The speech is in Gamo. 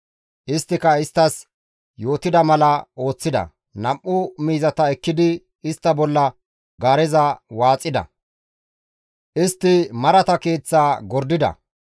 Isttika isttas yootettida mala ooththida; nam7u miizata ekkidi istta bolla gaareza waaxida; istti marata keeththaa gordida.